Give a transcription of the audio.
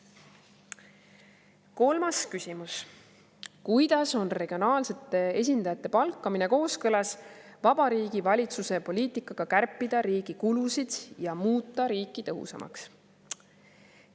Kolmas küsimus: "Kuidas on regionaalsete esindajate palkamine kooskõlas Vabariigi Valitsuse poliitikaga kärpida riigi kulusid ja muuta riiki tõhusamaks?